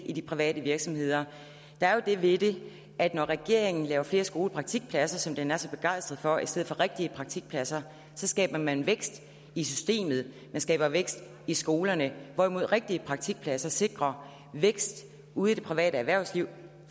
i de private virksomheder der er det ved det at når regeringen laver flere skolepraktikpladser som den er så begejstret for i stedet for rigtige praktikpladser skaber man vækst i systemet man skaber vækst i skolerne hvorimod rigtige praktikpladser sikrer vækst ude i det private erhvervsliv